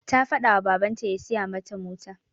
Ta faɗa ma babanta ya siya mata mota.